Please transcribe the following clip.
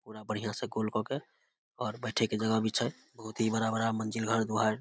पूरा बढ़िया से गोल काय के और बैठे के जगह भी छै बहुत ही बड़ा-बड़ा मंजिल घर दुआर --